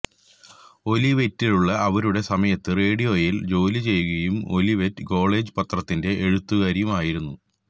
ഒലിവെറ്റിലുള്ള അവരുടെ സമയത്ത് റേഡിയോയിൽ ജോലി ചെയ്യുകയും ഒലിവെറ്റ് കോളേജ് പത്രത്തിന്റെ എഴുത്തുകാരിയായിരുന്നു